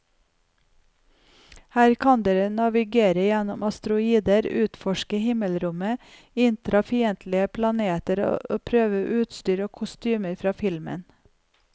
Her kan dere navigere gjennom asteroider, utforske himmelrommet, innta fiendtlige planeter og prøve utstyr og kostymer fra filmen.